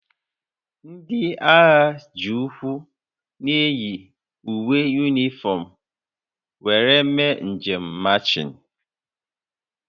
Ndị agha ji ụkwụ na-eyi uwe yunifọm were eme njem machịn